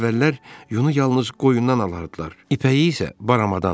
Əvvəllər yunu yalnız qoyundan alardılar, ipəyi isə baramadan.